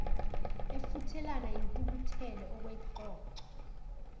efuthelana yintukuthelo okwexoxo